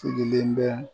Sigilen bɛ